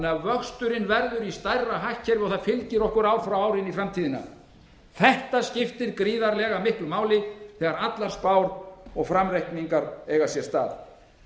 vöxturinn verður í stærra hagkerfi og það fylgir okkur ár frá ári inn í framtíðina þetta skiptir gríðarlega miklu máli þegar allar spár og framreikningar eiga sér stað